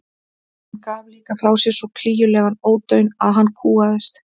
Hún gaf líka frá sér svo klígjulegan ódaun að hann kúgaðist.